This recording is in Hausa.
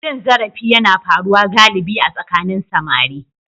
Cin zarafi yana faruwa galibi a tsakanin samari.